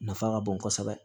Nafa ka bon kosɛbɛ